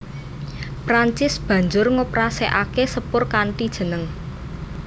Prancis banjur ngoperasèkaké sepur kanthi jeneng